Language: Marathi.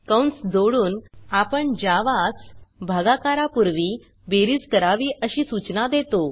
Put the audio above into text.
कंस जोडून आपण जावा स भागाकारा पुर्वी बेरीज करावी अशी सूचना देतो